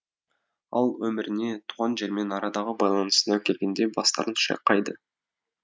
ал өміріне туған жермен арадағы байланысына келгенде бастарын шайқайды